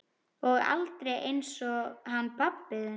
Og aldrei einsog hann pabbi þinn.